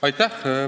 Aitäh!